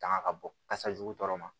Tanga ka bɔ kasa jugu tɔɔrɔ ma